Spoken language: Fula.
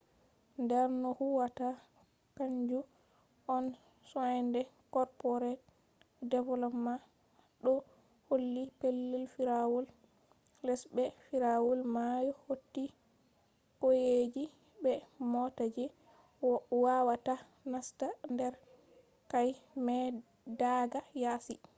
der no huwwata kanju on soinde corporate development ɗo holli. pellel firawol les be firawol mayo hauti qauyeji be mota je wawata nasta der quaye mai daga yasi